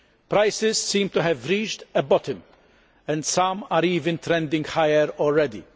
Prices seem to have reached bottom and some are even trending higher already.